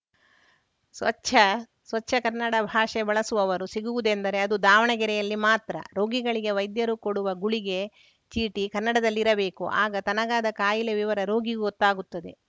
ಸ್ವಚ್ಛ ಸ್ವಚ್ಛ ಕನ್ನಡ ಭಾಷೆ ಬಳಸುವವರು ಸಿಗುವುದೆಂದರೆ ಅದು ದಾವಣಗೆರೆಯಲ್ಲಿ ಮಾತ್ರ ರೋಗಿಗಳಿಗೆ ವೈದ್ಯರು ಕೊಡುವ ಗುಳಿಗೆ ಚೀಟಿ ಕನ್ನಡದಲ್ಲಿರಬೇಕು ಆಗ ತನಗಾದ ಕಾಯಿಲೆ ವಿವರ ರೋಗಿಗೂ ಗೊತ್ತಾಗುತ್ತದೆ